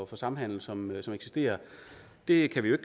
for samhandel som eksisterer det kan vi jo